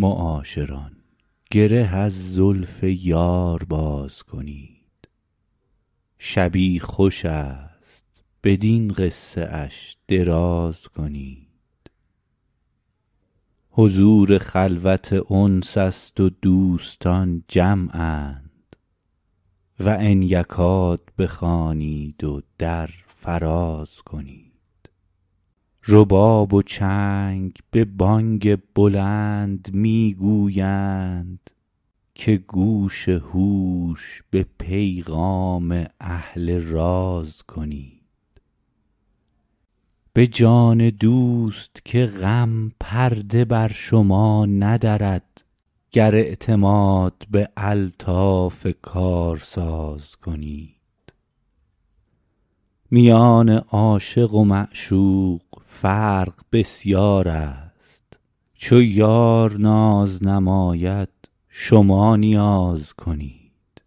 معاشران گره از زلف یار باز کنید شبی خوش است بدین قصه اش دراز کنید حضور خلوت انس است و دوستان جمعند و ان یکاد بخوانید و در فراز کنید رباب و چنگ به بانگ بلند می گویند که گوش هوش به پیغام اهل راز کنید به جان دوست که غم پرده بر شما ندرد گر اعتماد بر الطاف کارساز کنید میان عاشق و معشوق فرق بسیار است چو یار ناز نماید شما نیاز کنید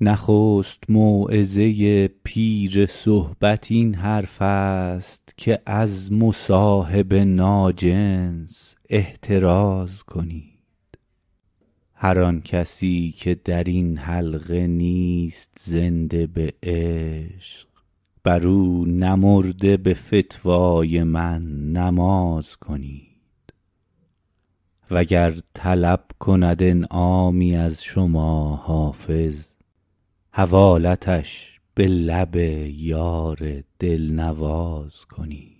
نخست موعظه پیر صحبت این حرف است که از مصاحب ناجنس احتراز کنید هر آن کسی که در این حلقه نیست زنده به عشق بر او نمرده به فتوای من نماز کنید وگر طلب کند انعامی از شما حافظ حوالتش به لب یار دل نواز کنید